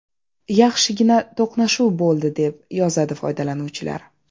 Yaxshigina to‘qnashuv bo‘ldi”, deb yozadi foydalanuvchilar.